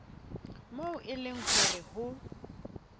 moo e leng hore ho